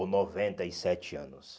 Ou noventa e sete anos.